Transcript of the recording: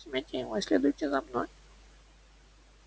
возьмите его и следуйте за мной